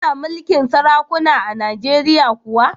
Ana mulkin sarakuna a Najeriya kuwa?